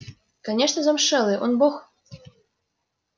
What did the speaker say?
конечно замшелый он бог